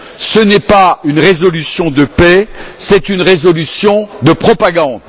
Ce n'est pas une résolution de paix, c'est une résolution de propagande!